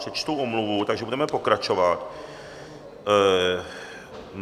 Přečtu omluvu, takže budeme pokračovat.